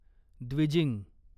Dwijing